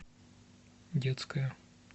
детская